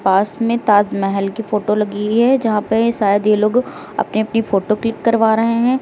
पास में ताज महल की फोटो लगी हुई है यहां पे शायद ये लोग अपनी अपनी फोटो क्लिक करवा रहे हैं।